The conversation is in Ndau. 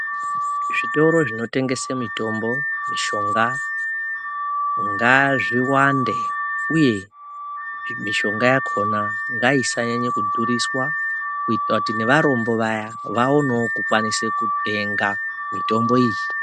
Zvitoro zvinotengese mitombo mishonga ngazviwande, uye mishonga yakona ngaisanyanye kudhuriswa. Kuitira kuti nevarombo vaya vaonevo kukwanise kutenga mitombo iyi.